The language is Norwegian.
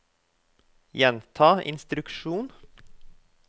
gjenta instruksjon